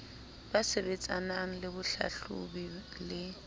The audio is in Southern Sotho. ba sebetsanang le bohlahlobi le